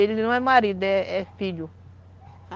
Ele não é marido, é é filho.